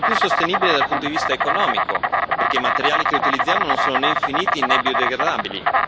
non è più sostenibile dal punto di vista economico, perché i materiali che utilizziamo non sono né infiniti né biodegradabili